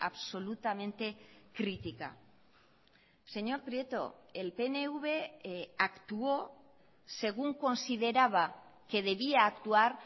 absolutamente crítica señor prieto el pnv actuó según consideraba que debía actuar